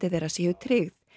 þeirra séu tryggð